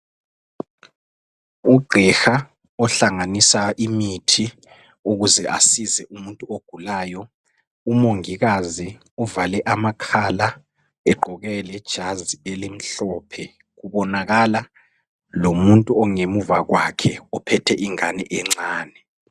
Ugqiha ohlanganisa imithi ukuze asize umuntu ogulayo. Umongikazi uvale amakhala egqoke lejazi elimhlophe kubonakala lomuntu ongemuva kwakhe ophethe ingane encane.